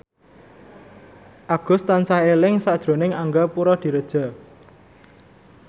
Agus tansah eling sakjroning Angga Puradiredja